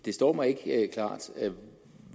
det står mig ikke klart